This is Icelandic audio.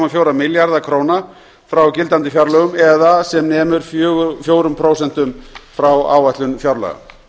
fjóra milljarða króna frá gildandi fjárlögum það er sem nemur fjórum prósentum frá áætlun fjárlaga